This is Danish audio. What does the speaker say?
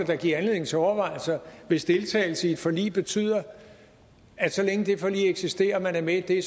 da give anledning til overvejelser hvis deltagelse i et forlig betyder at så længe det forlig eksisterer og man er med i